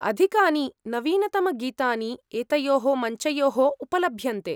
अधिकानि नवीनतमगीतानि एतयोः मञ्चयोः उपलभ्यन्ते।